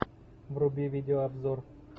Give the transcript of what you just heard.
вруби видеообзор